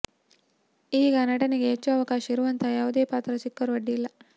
ಈಗ ನಟನೆಗೆ ಹೆಚ್ಚು ಅವಕಾಶ ಇರುವಂತಹ ಯಾವುದೇ ಪಾತ್ರ ಸಿಕ್ಕರೂ ಅಡ್ಡಿಯಿಲ್ಲ